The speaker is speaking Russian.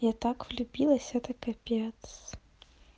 я так влюбилась это капец